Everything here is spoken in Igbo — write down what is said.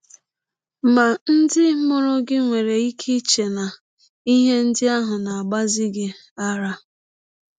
Ma, ndị mụrụ gị nwere ike iche na ihe ndị ahụ na - agbazi gị ara.